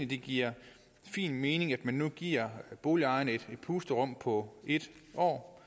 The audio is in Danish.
det giver fin mening at man nu giver boligejerne et pusterum på en år